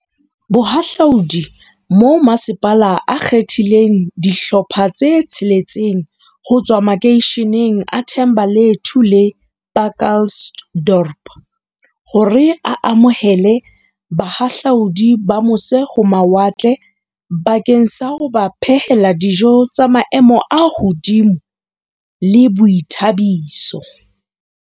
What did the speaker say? Bohahla udi mo masepala o kgethileng dihlopha tse tsheletseng ho tswa makeisheneng a The mbalethu le Pacaltsdorp hore a amohele bahahlaudi ba mo se-ho-mawatle bakeng sa ho ba phehela dijo tsa maemo a hodimo le boithabiso.